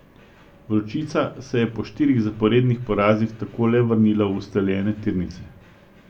Vročica se je po štirih zaporednih porazih tako le vrnila v ustaljene tirnice.